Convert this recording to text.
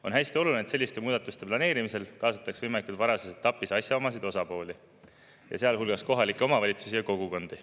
On hästi oluline, et selliste muudatuste planeerimisel kaasataks võimalikult varajases etapis asjaomaseid osapooli, sealhulgas kohalikke omavalitsusi ja kogukondi.